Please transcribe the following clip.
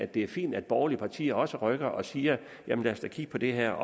det er fint at borgerlige partier også rykker og siger lad os da kigge på det her og